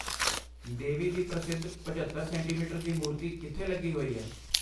ਦੇ ਵੀ ਦੀ ਪ੍ਰਸਿੱਧ ਪਝੱਤਰ ਸੈਂਟੀਮੀਟਰ ਦੀ ਮੂਰਤੀ ਕਿੱਥੇ ਲੱਗੀ ਹੋਈ ਹੈ?